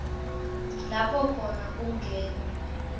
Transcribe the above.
lapho khona kungenwe